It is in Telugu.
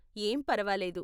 ఏం పరవాలేదు.